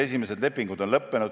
Esimesed lepingud on lõppenud.